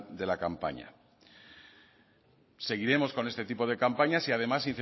de la campaña seguiremos con este tipo de campañas y además